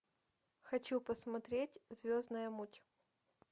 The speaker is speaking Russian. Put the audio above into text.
хочу посмотреть звездная муть